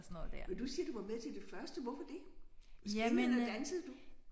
Men du siger du var med til det første hvorfor det? Spillede eller dansede du?